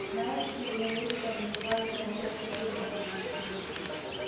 знаешь змееустом называли самого слизерина